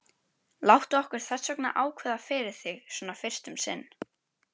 Láttu okkur þessvegna ákveða fyrir þig, svona fyrst um sinn.